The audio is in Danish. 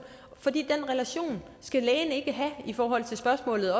for den relation skal lægen ikke have i forhold til spørgsmålet